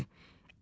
İkinci.